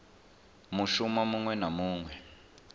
mushumo muṅwe na muṅwe we